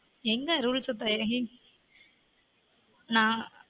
எங்க rules நான்